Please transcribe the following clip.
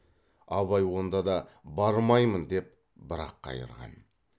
абай онда да бармаймын деп бір ақ қайырған